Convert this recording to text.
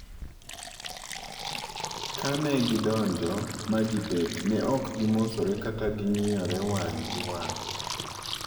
Ka negidonja ma gibet, ne ok gimosore kata ng'iyore wang' gi wang'.